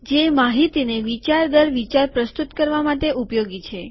જે માહિતીને વિચાર દર વિચાર પ્રસ્તુત કરવા માટે ઉપયોગી છે